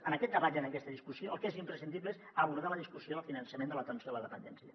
en aquest debat i en aquesta discussió el que és imprescindible és abordar la discussió del finançament de l’atenció a la dependència